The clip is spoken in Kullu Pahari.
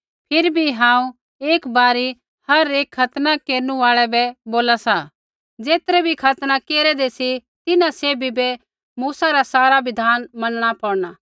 फिरी भी हांऊँ एकी बारी हर एक खतना केरनु आल़ै बै बोला सा ज़ेतरै भी खतना केरेदै सी तिन्हां सैभी बै मूसा रा सारा बिधान मनणा पौड़ना